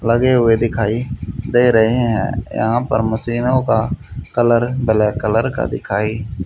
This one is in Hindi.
लगे हुए दिखाई दे रहे हैं यहां पर मशीनों का कलर ब्लैक कलर का दिखाई--